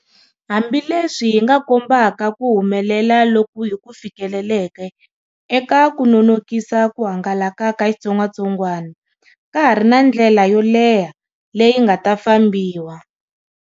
Hambileswi hi nga kombaka ku humelela loku hi ku fikeleleke eka ku nonokisa ku hangalaka ka xitsongwatsongwana, ka ha ri na ndlela yo leha leyi nga ta fambiwa.